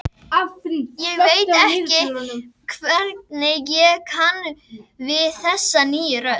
Ég veit ekki hvernig ég kann við þessa nýju rödd.